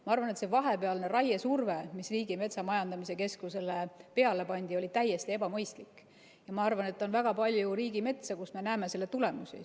Ma arvan, et see vahepealne raiesurve, mis Riigimetsa Majandamise Keskusele peale pandi, oli täiesti ebamõistlik, ja ma arvan, et on väga palju riigimetsa, kus me näeme selle tulemusi.